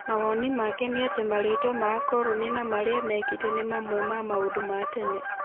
Mawoni make nĩ atĩ marĩtwa ma akoroni na maria mekĩte nĩ mamwe ma maũndu ma tene.